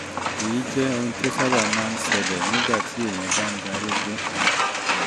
èyí jẹ́ ohun tó sábà máa ń ṣẹlẹ̀ nígbà téèyàn bá ń darúgbó